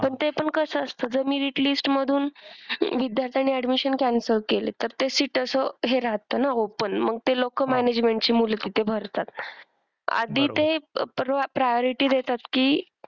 पण ते पण कसं असतं जर merit list मधून विद्यार्थ्याने admission cancel केली तर ते seat असं हे राहतं ना open. मग ती लोकं management ची मुलं तिथे भरतात. आधी ते pro priority देतात की,